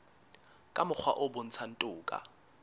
ka mokgwa o bontshang toka